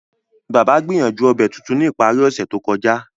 Baba gbìyànjú obẹ̀ tuntun ni ìparí ọ̀sẹ̀ to kọja.